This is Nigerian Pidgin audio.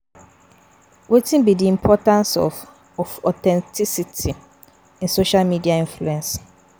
Wetin be di importance of of authenticity in social media influence?